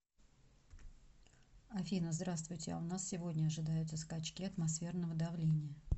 афина здравствуйте а у нас сегодня ожидаются скачки атмосферного давления